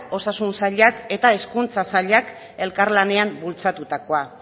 osasun sailak eta hezkuntza sailak elkarlanean bultzatutakoa